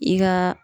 I ka